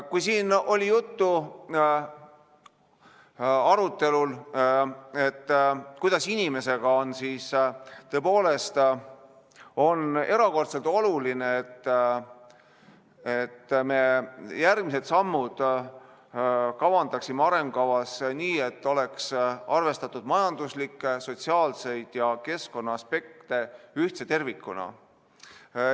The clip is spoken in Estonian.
Kui siin oli arutelu, kuidas inimestega on, siis tõepoolest on erakordselt oluline, et me järgmised sammud kavandasime arengukavas nii, et oleks arvestatud majanduslikke, sotsiaalseid ja keskkonnaaspekte ühtse tervikuna.